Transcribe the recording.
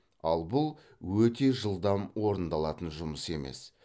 ал бұл өте жылдам орындалатын жұмыс емес